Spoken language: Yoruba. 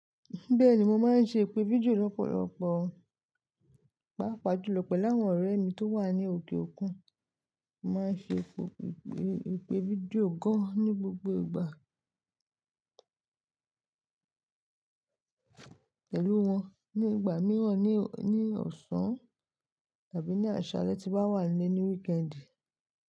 Bẹ́ẹ̀ni, mo máa ń ṣe ìpè fídíò lọ́pọ̀lọpọ̀, pàápàá jùlọ pẹ̀lú àwọn ọ̀rẹ́ mi tó wà ní òkè òkun. Mo máa ń ṣe ìpè fídíò gan-an ní gbogbo ìgbà pẹ̀lú wọn, ní ìgbà mìíràn ní ọ̀sán tàbí ní àsálẹ́ tí mọ́ wà nílé ní wíkẹ́ndì.